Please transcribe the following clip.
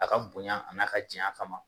A ka bonya a n'a ka janya kama